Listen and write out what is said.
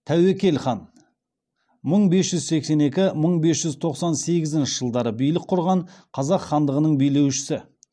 тәуекел хан мың бес жүз сексен екі мың бес жүз тоқсан сегізінші жылдары билік құрған қазақ хандығының билеушісі